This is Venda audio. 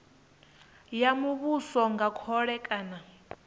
ya muvhuso nga khole kana